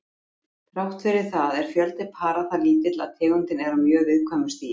Þrátt fyrir það er fjöldi para það lítill að tegundin er á mjög viðkæmu stigi.